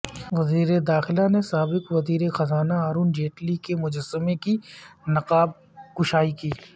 وزیر داخلہ نے سابق وزیر خزانہ ارون جیٹلی کے مجسمے کی نقاب کشائی کی